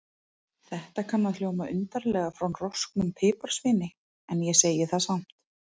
Þetta kann að hljóma undarlega frá rosknum piparsveini, en ég segi það samt.